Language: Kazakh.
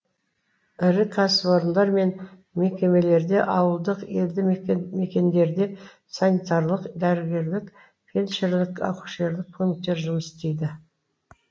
ірі кәсіпорындар мен мекемелерде ауылдық елді мекендерде санитарлық дәрігерлік фельдшерлік акушерлік пунктер жұмыс істейді